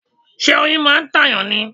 Ṣé oyin máa ń ta èyàn ni?